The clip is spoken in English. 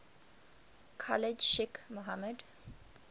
khalid sheikh mohammed